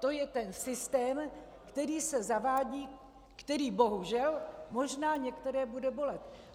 To je ten systém, který se zavádí, který bohužel možná některé bude bolet.